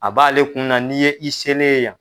A b'ale kunna na n'i ye i selen ye yan.